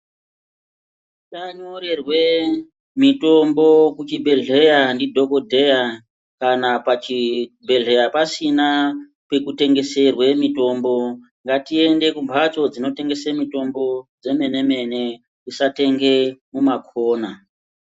Tanyorerwe mitombo kuchibhedhleya ndidhokodheya kana pachibhedhleya pasina pekutengeserwe mitombo ngatiende kumbatso dzinotengeswe mitombo dzemene mene tisatenge mumakona.